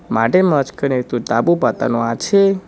মাটের মাঝখানে একতো তাঁবু পাতানো আছে।